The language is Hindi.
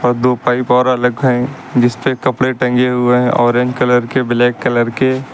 दो पाइप और जिसपे कपड़ा टंगे हुए हैं ऑरेंज कलर का ब्लैक कलर के।